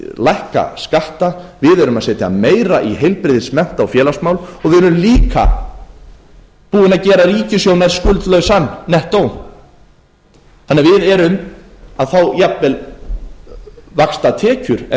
lækka skatta við erum að setja meira í heilbrigðis mennta og félagsmál og við erum líka búin að gera ríkissjóð nær skuldlausan nettó þannig að við erum að fá jafnvel vaxtatekjur en